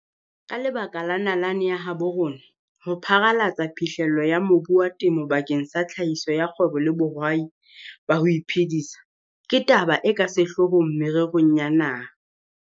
Ka lebaka la nalane ya habo rona, ho pharalatsa phihlello ya mobu wa temo bakeng sa tlhahiso ya kgwebo le bohwai ba ho iphedisa ke taba e ka sehlohlolong mererong ya naha.